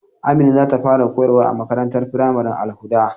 Amina zata fara koyarwa a makarantar firamaren Al-hudda.